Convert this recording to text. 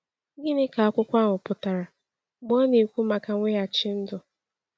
Gịnị ka akwụkwọ ahụ pụtara mgbe ọ na-ekwu maka mweghachi ndụ?